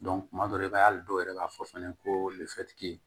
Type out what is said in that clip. tuma dɔ i b'a ye hali dɔw yɛrɛ b'a fɔ fɛnɛ ko